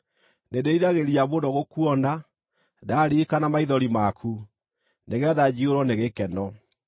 Nĩndĩĩriragĩria mũno gũkuona, ndaririkana maithori maku, nĩgeetha njiyũrwo nĩ gĩkeno.